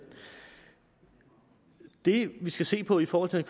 det vi skal se på i forhold til